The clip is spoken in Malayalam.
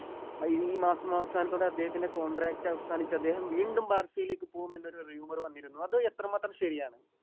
ആ ഈ മാസം അവസാനത്തോടെ അദ്ദേഹത്തിൻറെ Contract അവസാനിച്ച് അദ്ദേഹം വീണ്ടും ബാഴ്‌സയിലേക്ക് പോകും എന്നുള്ള Rumour വന്നിരുന്നു അത് എത്ര മാത്രം ശരിയാണ്